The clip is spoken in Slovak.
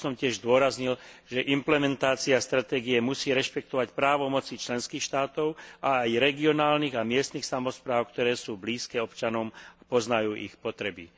Rád by som tiež zdôraznil, že implementácia stratégie musí rešpektovať právomoci členských štátov a aj regionálnych a miestnych samospráv, ktoré sú blízke občanom, poznajú ich potreby.